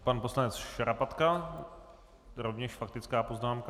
Pan poslanec Šarapatka, rovněž faktická poznámka.